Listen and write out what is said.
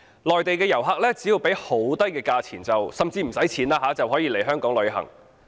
內地遊客只需支付低廉的價錢甚至免費，就可以來港旅行。